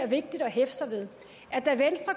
vigtigt at hæfte sig ved